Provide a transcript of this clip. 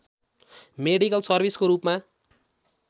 medical सर्भिसको रूपमा